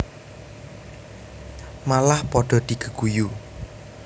Malah padha digeguyu